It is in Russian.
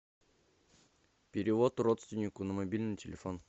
перевод родственнику на мобильный телефон